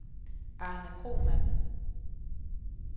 Arne Kromann